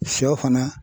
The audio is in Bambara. Shɔ fana